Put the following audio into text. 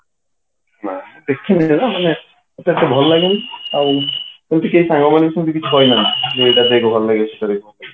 ନା ଦେଖିନି କେବେ ମାନେ ମତେ ଏତେ ଭଲ ଲାଗେନି ଆଉ ଏମିତି କିଏ ସାଙ୍ଗମାନେ ସେମିତି କିଛି କହି ନାହାନ୍ତି ଯୋଉଟା କି ଭଲ ଏଥିରେ